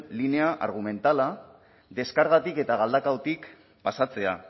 linea argumentala deskargatik eta galdakaotik pasatzea